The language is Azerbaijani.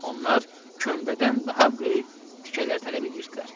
Onlar kömbədən daha böyük tikələr tələb eləyirdilər.